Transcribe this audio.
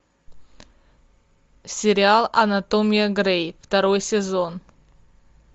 сериал анатомия грей второй сезон